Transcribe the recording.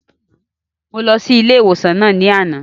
Mo lọ sí ilé ìwòsàn náà ní àná